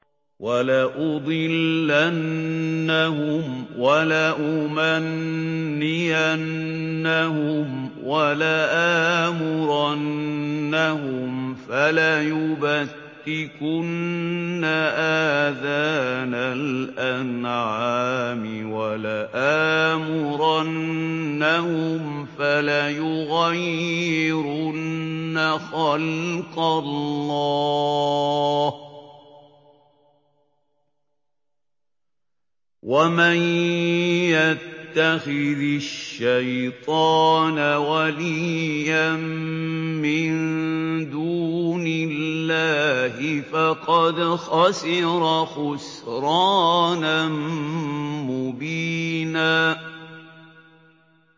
وَلَأُضِلَّنَّهُمْ وَلَأُمَنِّيَنَّهُمْ وَلَآمُرَنَّهُمْ فَلَيُبَتِّكُنَّ آذَانَ الْأَنْعَامِ وَلَآمُرَنَّهُمْ فَلَيُغَيِّرُنَّ خَلْقَ اللَّهِ ۚ وَمَن يَتَّخِذِ الشَّيْطَانَ وَلِيًّا مِّن دُونِ اللَّهِ فَقَدْ خَسِرَ خُسْرَانًا مُّبِينًا